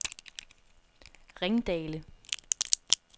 Ringdale